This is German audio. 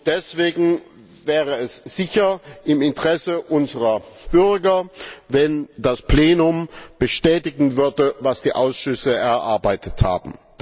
Deswegen wäre es sicher im Interesse unserer Bürger, wenn das Plenum bestätigen würde, was die Ausschüsse erarbeitet haben.